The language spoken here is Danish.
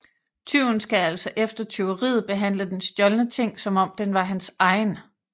Tyven skal altså efter tyveriet behandle den stjålne ting som om den var hans egen